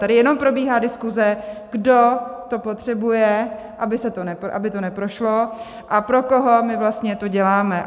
Tady jenom probíhá diskuze, kdo to potřebuje, aby to neprošlo, a pro koho my vlastně to děláme.